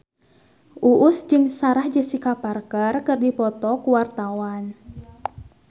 Uus jeung Sarah Jessica Parker keur dipoto ku wartawan